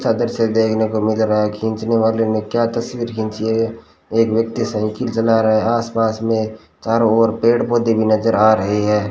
छादर से देखने को मिल रहा है खींचने वाले ने क्या तस्वीर खींची है एक व्यक्ति साइकिल चला रहा है आसपास में चारों ओर पेड़-पौधे भी नजर आ रहे हैं।